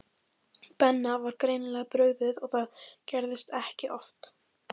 Benna var greinilega brugðið og það gerðist ekki oft.